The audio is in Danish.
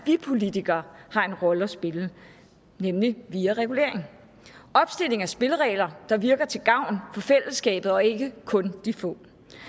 vi politikere har en rolle at spille nemlig via regulering og opstilling af spilleregler der virker til gavn for fællesskabet og ikke kun de få